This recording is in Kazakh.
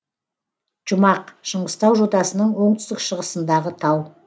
жұмақ шыңғыстау жотасының оңтүстік шығысындағы тау